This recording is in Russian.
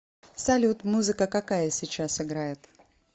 салют музыка какая сейчас играет